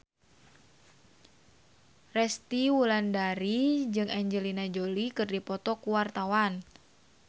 Resty Wulandari jeung Angelina Jolie keur dipoto ku wartawan